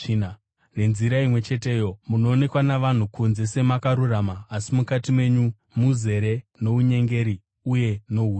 Nenzira imwe cheteyo, munoonekwa navanhu kunze semakarurama asi mukati menyu muzere nounyengeri uye nohuipi.